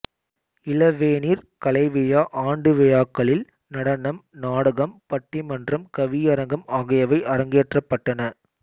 இளவேனிற் கலைவிழா ஆண்டுவிழாக்களில் நடனம் நாடகம் பட்டிமன்றம் கவியரங்கம் ஆகியவை அரங்கேற்றப் பட்டன